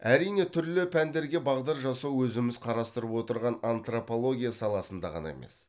әрине түрлі пәндерге бағдар жасау өзіміз қарастырып отырған антропология саласында ғана емес